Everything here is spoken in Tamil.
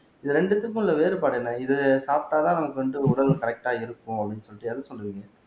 இது ரெண்டு இதுக்கும் உள்ள வேறுபாடு என்ன இது சாப்பிட்டா தான் நமக்கு வந்து உடல் கரெக்டா இருக்கும் அப்படீன்னு சொல்லிட்டு எத சொல்லுவீங்க